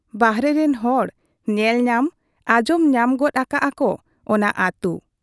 ᱵᱟᱦᱨᱮ ᱨᱤᱱ ᱦᱚᱲ ᱧᱮᱞ ᱧᱟᱢ ᱟᱸᱡᱚᱢ ᱧᱟᱢ ᱜᱚᱫ ᱟᱠᱟᱜ ᱟ ᱠᱚ ᱚᱱᱟ ᱟᱹᱛᱩ ᱾